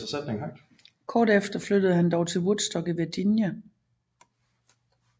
Kort efter flyttede han dog til Woodstock i Virginia